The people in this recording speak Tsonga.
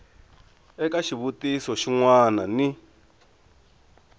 eka xivutiso xin wana ni